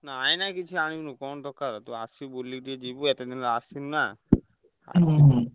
ନାଇଁ ନାଇଁ କିଛି ଆଣିବୁନି କଣ ଦରକାର ତୁ ଆସି ବୁଲିକି ଯିବୁ ଏତେ ଦିନି ହେଲାଣି ଆସିନୁନା।